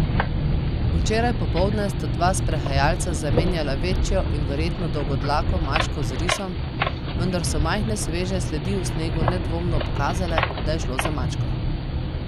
Včeraj popoldne sta dva sprehajalca zamenjala večjo in verjetno dolgodlako mačko z risom, vendar so majhne sveže sledi v snegu nedvomno pokazale, da je šlo za mačko.